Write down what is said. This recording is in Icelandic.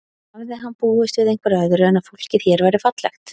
En hafði hann búist við einhverju öðru en að fólkið hér væri fallegt?